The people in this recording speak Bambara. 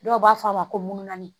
Dɔw b'a fɔ a ma ko mununa